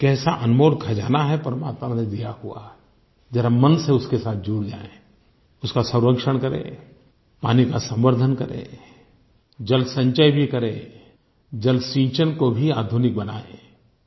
ये कैसा अनमोल खजाना है परमात्मा का दिया हुआ जरा मन से उसके साथ जुड़ जाएँ उसका संरक्षण करें पानी का संवर्द्धन करें जलसंचय भी करें जलसिंचन को भी आधुनिक बनाएँ